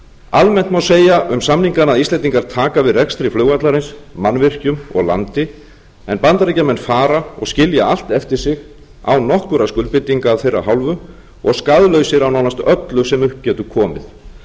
almennt má segja um samningana að íslendingar taka við rekstri flugvallarins mannvirkjum og landi en bandaríkjamenn fara og skilja allt eftir sig án nokkurra skuldbindinga af þeirra hálfu og skaðlausir af nánast öllu sem upp getur komið